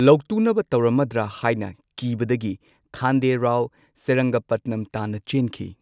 ꯂꯧꯇꯨꯅꯕ ꯇꯧꯔꯝꯃꯗ꯭ꯔ ꯍꯥꯢꯅ ꯀꯤꯕꯗꯒꯤ, ꯈꯥꯟꯗꯦ ꯔꯥꯎ ꯁꯦꯔꯤꯡꯒꯄꯠꯅꯝ ꯇꯥꯟꯅ ꯆꯦꯟꯈꯤ꯫